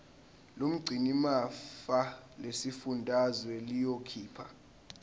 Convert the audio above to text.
lomgcinimafa lesifundazwe liyokhipha